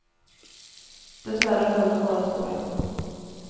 Dess värre höll den bara två veckor.